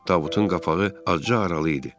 Tabutun qapağı açıq aralı idi.